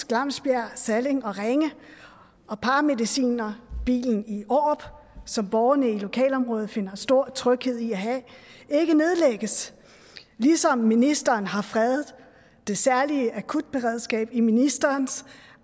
glamsberg salling og ringe og paramedicinerbilen i aarup som borgerne i lokalområdet finder stor tryghed i at have ikke nedlægges ligesom ministeren har fredet det særlige akutberedskab i ministerens